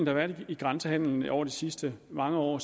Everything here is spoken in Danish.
har været i grænsehandelen over de sidste mange år